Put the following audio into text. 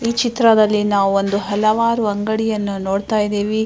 ಈ ಚಿತ್ರದಲ್ಲಿ ನಾವು ಒಂದು ಹಲವಾರು ಅಂಗಡಿಯನ್ನು ನೋಡ್ತಾ ಇದಿವಿ.